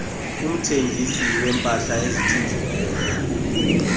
umthengisi weempahla ezithinjiweyo